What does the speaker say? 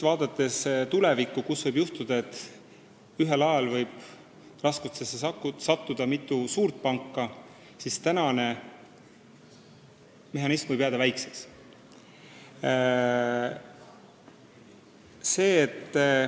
Tulevikus võib ju juhtuda, et ühel ajal satub raskustesse mitu suurt panka, ning siis ei pruugi praegusest mehhanismist piisata.